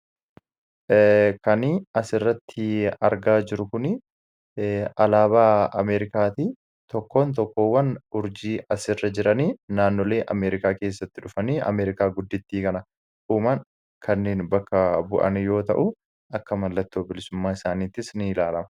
kanii as irratti argaa jirukun alaabaa ameerikaatii tokkoon tokkoowwan urjii as irra jiranii naannolee ameerikaa keessatti dhufanii ameerikaa guddittii kana uuman kanneen bakka bu'ani yoo ta'u akka mallattoo bilisummaa isaaniittis ni ilaalama